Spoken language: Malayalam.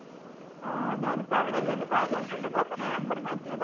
ആ ഞാൻ ഇപ്പൊ അവിടെ അല്ലെ ദുബായില് അല്ലെ ഉള്ളത് അപ്പൊ ഞാൻ number മാറ്റിയതാ.